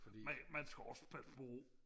man man skal også passe på